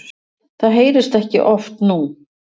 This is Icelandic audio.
Það heyrist ekki oft nú.